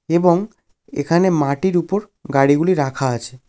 এবং এখানে মাটির ওপর গাড়ি গুলি রাখা আছে।